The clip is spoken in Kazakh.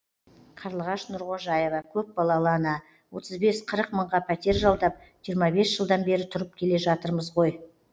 қарлығаш нұрғожаева көпбалалы ана отыз бес қырық мыңға пәтер жалдап жиырма бес жылдан бері тұрып келе жатырмыз ғой